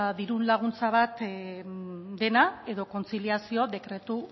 diru laguntza bat dena edo kontziliazioa dekretu